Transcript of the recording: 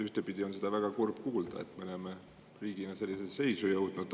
Ühtepidi on väga kurb kuulda, et me oleme riigina sellisesse seisu jõudnud.